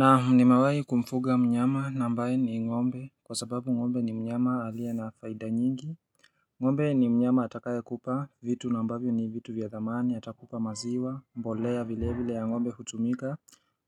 Naam nimawaji kumfuga mnyama na ambaye ni ngombe kwa sababu ngombe ni mnyama aliye na faida nyingi ngombe ni mnyama atakaye kupa vitu na ambavyo ni vitu vya dhamani atakupa maziwa mbolea vile vile ya ngombe hutumika